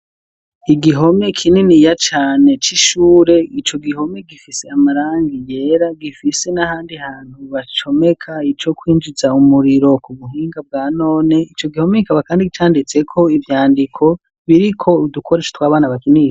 Igihome kininiya cane c'ishure ico gihome gifise amarangi yera gifise nahandi hantu bacomeka ico kwinjiza umuriro ku buhinga bwa none ico gihome kikaba kandi canditse ko ibyandiko biriko udukoresho tw'abana bakina.